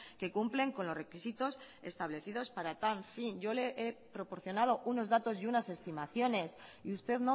que cumplen con los requisitos establecidos para tal fin yo le he proporcionado unos datos y unas estimaciones y usted